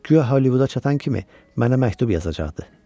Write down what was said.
Güya Hollivuda çatan kimi mənə məktub yazacaqdı.